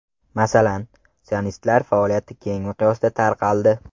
Masalan, sionistlar faoliyati keng miqyosda tarqaldi.